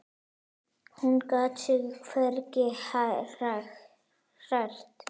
Hún gat sig hvergi hrært.